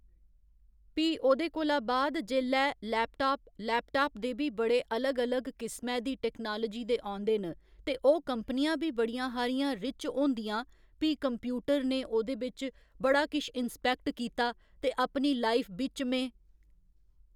भी ओह्दे कोला बाद जेल्लै लेपटाप लेपटाप दे बी बड़े अलग अलग किस्मै दी टेक्नेलाजी दे औंदे न ते ओह् कंपनियां बी बड़ियां हारियां रिच्च होंदियां भी कंप्यूटर ने ओह्दे बिच्च बड़ा किश इंस्पैक्ट कीता ते अपनी लाईफ बिच्च में